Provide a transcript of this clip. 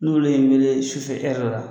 N'olu ye n wele sufɛ la